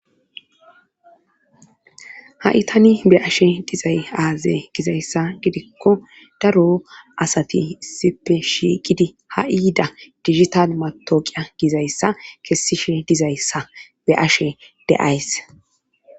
Ha'itani be ashe dizay aaze gizayssa gidikko daro asati issipe shiiqidi ha'iida digital matooqiya gizayssa kessishe dizayssa be ashe de'ays.